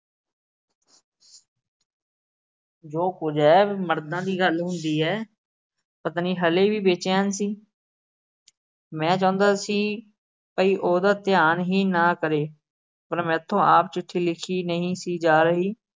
ਜੋ ਕੁਝ ਐ। ਮਰਦਾ ਦੀ ਗੱਲ ਹੁੰਦੀ ਐ। ਪਤਨੀ ਹਲੇ ਵੀ ਬੇਚੈਨ ਸੀ। ਮੈਂ ਚਾਹੁੰਦਾ ਸੀ। ਭਾਈ ਉਹਦਾ ਧਿਆਨ ਹੀ ਨਾ ਕਰੇ। ਪਰ ਮੈਥੋਂ ਆਪ ਚਿੱਠੀ ਲਿਖੀ ਨਹੀਂ ਸੀ ਜਾ ਰਹੀ।